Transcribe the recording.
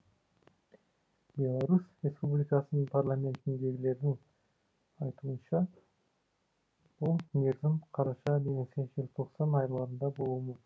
беларусь республикасының парламентіндегілердің айтуынша бұл мерзім қараша немесе желтоқсан айларында болуы мүмкін